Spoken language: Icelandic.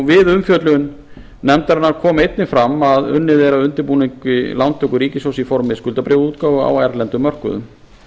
við umfjöllun nefndarinnar kom einnig fram að unnið er að undirbúningi lántöku ríkissjóðs í formi skuldabréfaútgáfu á erlendum mörkuðum